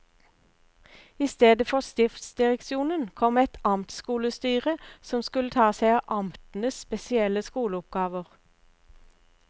I stedet for stiftsdireksjonen kom et amtsskolestyre, som skulle ta seg av amtenes spesielle skoleoppgaver.